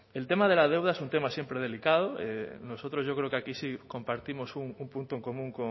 el tema de la deuda es un tema siempre delicado nosotros yo creo que aquí sí compartimos un punto en común